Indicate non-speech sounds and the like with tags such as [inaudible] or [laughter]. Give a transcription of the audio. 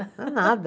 [laughs] nada.